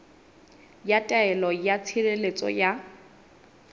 ya taelo ya tshireletso ya